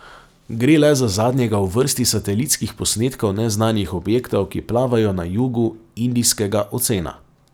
Gre le za zadnjega v vrsti satelitskih posnetkov neznanih objektov, ki plavajo na jugu Indijskega ocena.